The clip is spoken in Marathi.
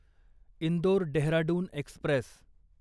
इंदोर डेहराडून एक्स्प्रेस